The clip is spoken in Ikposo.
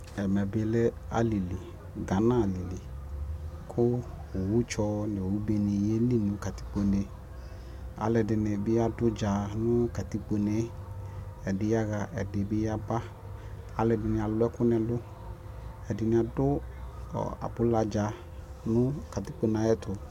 Ɛmɛ bi lɛ alili, Gana alili kʋ owu tsɔ nʋ owu be ni yɛli nʋ katikpo ne Alʋɛdini bi adʋ ʋdza nʋ katikpo ne e Ɛdi yaɣa, ɛdi bi yaba Alʋɛdini alʋ ɛkʋ n'ɛlʋ Ɛdini dʋ abula dza nʋ katikpo ne yɛ ayɛtʋ